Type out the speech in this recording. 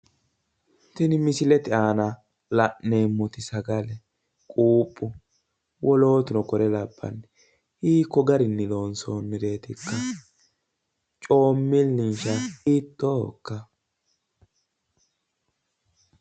Tini misilete aana la'neemmoti sagale quuphu wolootuno kore labbanno hiikko garinni loonsoonireetikka? Coommilinsa hiittoohokka?